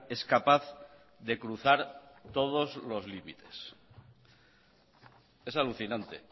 es capaz de cruzar todos los límites es alucinante